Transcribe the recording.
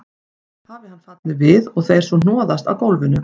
Hafi hann fallið við og þeir svo hnoðast á gólfinu.